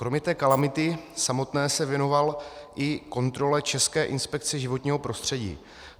Kromě té kalamity samotné se věnoval i kontrole České inspekce životního prostředí.